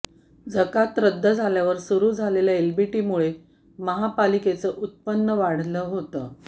जकात रद्द झाल्यावर सुरू झालेल्या एलबीटीमुळे महापालिकेचं उत्पन्न वाढलं होतं